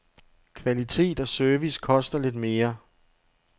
Kvalitet og service koster lidt mere.